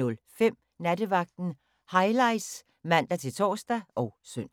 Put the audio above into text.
04:05: Nattevagten Highlights (man-tor og søn)